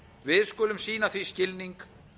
við skulum sýna því skilning